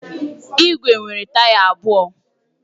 Igwe nwere taya abụọ.